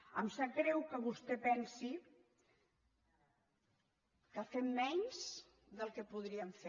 em sap greu que vostè pensi que fem menys del que podríem fer